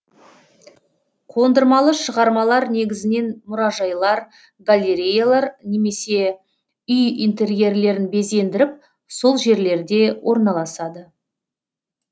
қондырмалы шығармалар негізінен мұражайлар галереялар немесе үй интерьерлерін безендіріп сол жерлерде орналасады